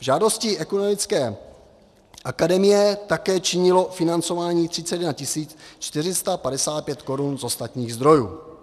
V žádosti Ekumenické akademie také činilo financování 31 455 korun z ostatních zdrojů.